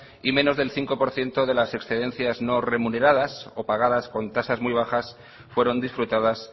y menos del cinco por ciento de las excedencias no remuneradas o pagadas con tasas muy bajas fueron disfrutadas